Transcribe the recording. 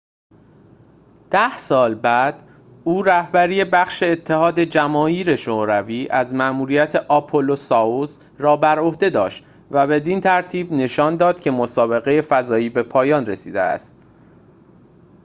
ده سال بعد او رهبری بخش اتحاد جماهیر شوروی از مأموریت آپولو-سایوز را بر عهده داشت و بدین ترتیب نشان داد که مسابقه فضایی به پایان رسیده است